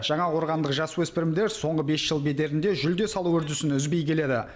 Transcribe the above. жаңақорғандық жасөспірімдер соңғы бес жыл бедерінде жүлде салу үрдісін үзбей келеді